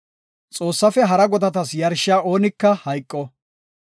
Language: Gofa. “Xoossaafe hara godatas yarshiya oonika hayqo.